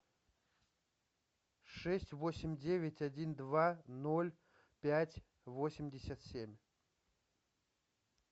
шесть восемь девять один два ноль пять восемьдесят семь